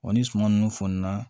Wa ni suman nunnu fɔnna